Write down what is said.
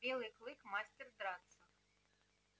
белый клык мастер драться